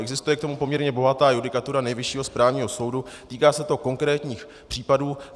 Existuje k tomu poměrně bohatá judikatura Nejvyššího správního soudu, týká se to konkrétních případů.